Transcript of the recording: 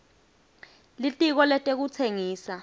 litiko letekutsengisa